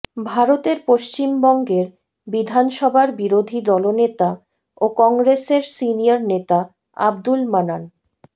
ভারতের পশ্চিমবঙ্গের বিধানসভার বিরোধী দলনেতা ও কংগ্রেসের সিনিয়র নেতা আব্দুল মান্নান